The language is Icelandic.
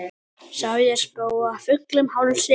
Sá ég spóa fullum hálsi.